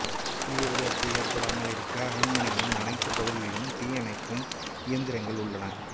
தீ விபத்து ஏற்படாமல் இருக்க அரண்மனையின் அனைத்து பகுதிகளிலும் தீ அணைக்கும் இயந்திரங்கள் உள்ளன